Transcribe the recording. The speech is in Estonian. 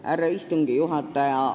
Härra istungi juhataja!